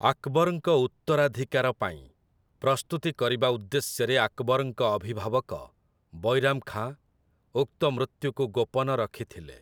ଆକବର୍‌ଙ୍କ ଉତ୍ତରାଧିକାର ପାଇଁ ପ୍ରସ୍ତୁତି କରିବା ଉଦ୍ଦେଶ୍ୟରେ ଆକବରଙ୍କ ଅଭିଭାବକ, ବୈରାମ୍ ଖାଁ, ଉକ୍ତ ମୃତ୍ୟୁକୁ ଗୋପନ ରଖିଥିଲେ ।